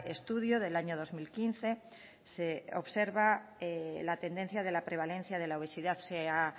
estudio del año dos mil quince se observa la tendencia de la prevalencia de la obesidad se ha